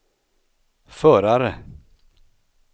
förare